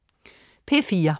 P4: